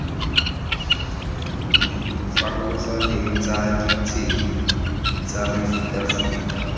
farologaneng tsa ditshedi tsa mefutafuta